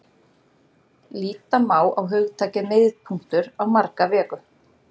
Líta má á hugtakið miðpunktur á marga vegu.